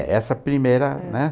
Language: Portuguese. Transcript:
É, essa primeira, né?